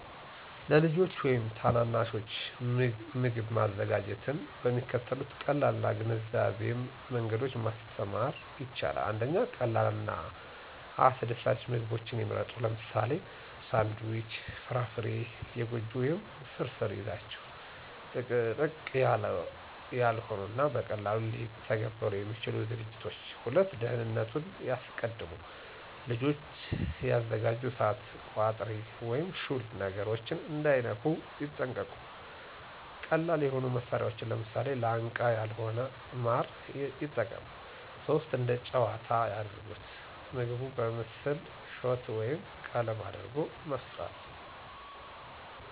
ለልጆች ወይም ታናናሾች ምግብ ማዘጋጀትን በሚከተሉት ቀላል እና ግንዛቤያም መንገዶች ማስተማር ይቻላል። 1. ቀላል እና አስደሳች ምግቦችን ይምረጡ - ለምሳሌ፦ ሳንድዊች፣ ፍራፍራ፣ የጎጆ ወይም ፍርፍር ይዛችሁ። - ጥቅጥቅ ያላው ያልሆኑ እና በቀላሉ ሊተገበሩ የሚችሉ ዝግጅቶች። **2. ደህንነቱን ያስቀድሙ** - ልጆች ሲያዘጋጁ እሳት፣ ቋጥሪ ወይም ሹል ነገሮችን እንዳይነኩ ይጠንቀቁ። - ቀላል የሆኑ መሳሪያዎችን (ለምሳሌ፦ ላንቃ ያልሆነ ማር) የጠቀሙ። *3. እንደ ጨዋታ ያድርጉት** - ምግቡን በምስል፣ ሾት ወይም ቀለም አድርጎ መፍጠሩ